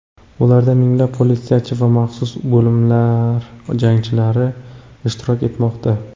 Ularda minglab politsiyachi va maxsus bo‘linmalar jangchilari ishtirok etmoqda.